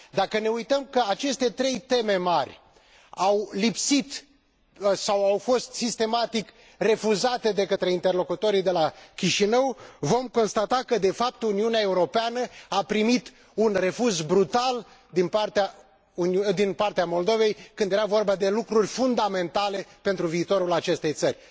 Dacă ne uităm că aceste trei teme mari au lipsit sau au fost sistematic refuzate de către interlocutorii de la Chișinău, vom constata că, de fapt, Uniunea Europeană a primit un refuz brutal din partea Moldovei când era vorba de lucruri fundamentale pentru viitorul acestei țări.